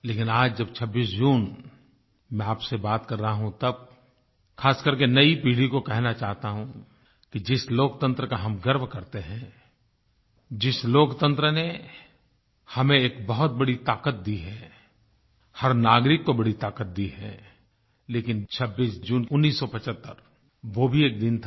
लेकिन आज जब 26 जून मैं आपसे बात कर रहा हूँ तब ख़ासकर के नई पीढ़ी को कहना चाहता हूँ कि जिस लोकतंत्र का हम गर्व करते हैं जिस लोकतंत्र ने हमें एक बहुत बड़ी ताकत दी है हर नागरिक को बड़ी ताकत दी है लेकिन 26 जून 1975 वो भी एक दिन था